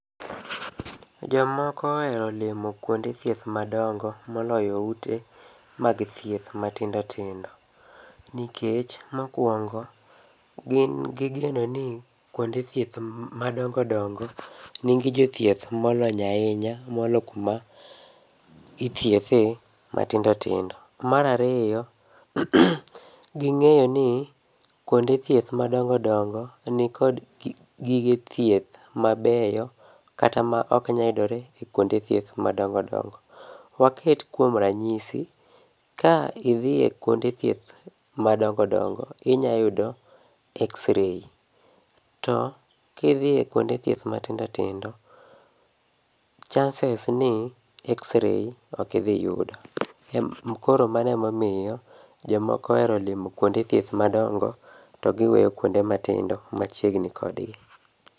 Jomoko ohero limo kuonde thieth madongo moloyo ute mag thieth matindo tindo. Nikech mokuongo, gin gi geno ni kuonde thieth madongo dongo, nigi jothieth molony ahinya moloyo kuma ithiethe matindo tindo. Mar ariyo, ging'eyo ni kuonde thieth madongo dongo nikod gige thieth mabeyo kata maok nyal yudore ekuonde thieth madongo dongo. Waket kuom ranyisi, ka idhie kuonde thieth madongo dongo, inyayudo X-ray, to kidhi e kuonde thieth matindo tindo, chances ni X-ray ok idhi yudo. Koro mano emomiyo jomoko ohero limo kuonde thieth madongo, to giweyo kuonde matindo machiegni kodgi.